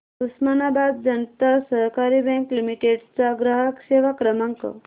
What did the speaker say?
उस्मानाबाद जनता सहकारी bank limited चा ग्राहक सेवा क्रमांक